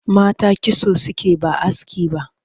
Mata kitso suke ba aski ba